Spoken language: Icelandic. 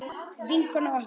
Vinkona okkar.